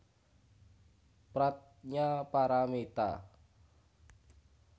Pradnya Paramita